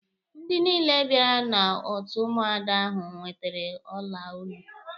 Ndị niile bịara n'otu Ụmụada ahụ nwetere ọla olu.